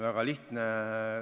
Väga lihtne.